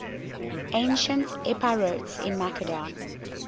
ancient epirotes in macedon